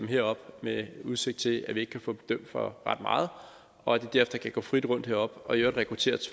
herop med udsigt til at vi ikke kan få dem dømt for ret meget og at de derefter kan gå frit heroppe og i øvrigt rekruttere